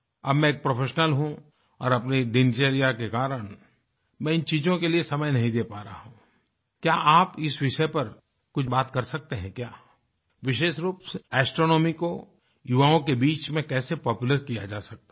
अब मैं एक प्रोफेशनल हूँ और अपनी दिनचर्या के कारण मैं इन चीज़ों के लिए समय नहीं दे पा रहा हूँ क्या आप इस विषय पर कुछ बात कर सकते हैं क्या विशेष रूप से एस्ट्रोनॉमी को युवाओं के बीच में कैसे पॉपुलर किया जा सकता है